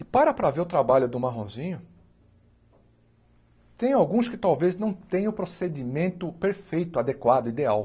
E para para ver o trabalho do Marronzinho, tem alguns que talvez não tenham o procedimento perfeito, adequado, ideal.